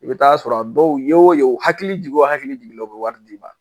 I bɛ t'a sɔrɔ dɔw ye o ye u hakili jigin o hakili jigin bɛ wari d'i ma